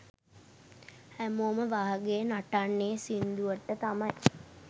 හැමෝම වාගේ නටන්නේ සිංදුවට තමයි.